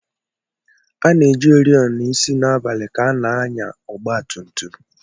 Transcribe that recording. A na-eji oriọna isi n'abalị ka a na-anya ọgba tum tum.